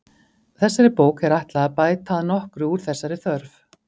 Þessari bók er ætlað að bæta að nokkru úr þessari þörf.